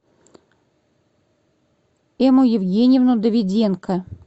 эмму евгеньевну давиденко